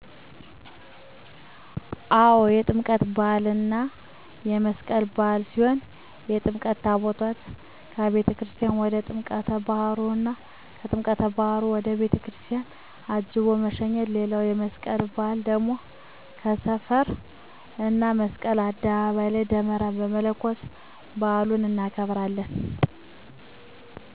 አው የጥምቀት በሃል እና የመስቀል በዓል ሲሆን የጥምቀት ታቦታትን አቤተክርስትያን ወደ ጥምቀት ባህሩ እና ከጥምቀተ ባህሩ ወደ ቤተክርስቲያን አጅቦ መሸኘት ሌላዉ የመስቀል በአል ደግሞ በሰፈር እና መስቀል አደባባይ ላይ ደመራ መለኮስ በአሉን እናከብራለን።